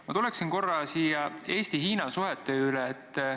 Ma tuleksin korra Eesti-Hiina suhete juurde.